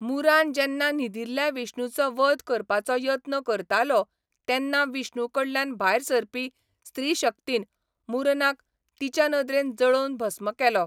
मुरान जेन्ना न्हिदिल्ल्या विष्णुचो वध करपाचो यत्न करतालो तेन्ना विष्णु कडल्यान भायर सरपी स्त्रीशक्तीन मुरनाक तिच्या नदरेन जळोवन भस्म केलो.